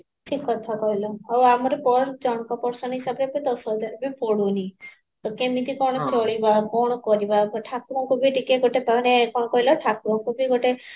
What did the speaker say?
ଠିକ କଥା କହିଲା ଆଉ ଆମର per ହିସାବରେ ତ ଦଶ ହଜାର ବି ପଡୁନି ତ କେମିତି କଣ କରିବା କଣ କରିବା ଏବେ ଠାକୁରଙ୍କୁ ବି ଟିକେ ଗୋଟେ ମାନେ କଣ କହିଲ ଠାକୁରଙ୍କୁ ବି ଗୋଟେ